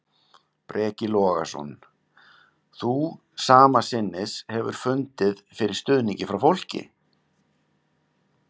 Breki Logason: Þú sama sinnis hefur fundið fyrir stuðningi frá fólki?